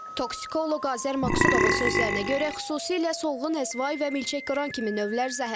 Toksikoloq Azər Maqsudovun sözlərinə görə, xüsusilə solğun əzva və Milçəkqıran kimi növlər zəhərlidir.